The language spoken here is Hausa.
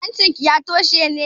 Hancinki ya toshe ne?